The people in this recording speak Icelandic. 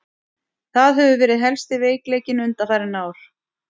Það hefur verið helsti veikleikinn undanfarin ár.